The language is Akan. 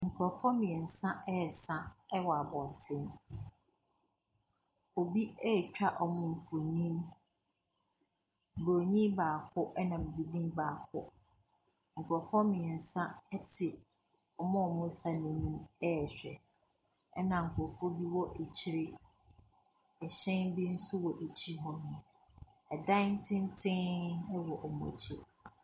Nkorɔfoɔ mmiensa ɛsa ɛwɔ abonten. Obi etwa ɔmmu fonin. Broni baako ena bibini baako. Nkrɔfoɔ mmiensa ɛte ɔmmu mu saw nim ɛhwɛ. Ɛna nkrɔfo bi ɛwɔ akyere. Ɛhyɛn be so wɔ akyere hɔ nom. Ɛdan tenten be wɔ ɔmmu akyere.